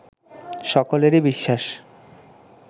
সকলেরই বিশ্বাস